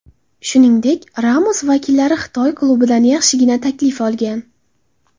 Shuningdek, Ramos vakillari Xitoy klubidan yaxshigina taklif olgan.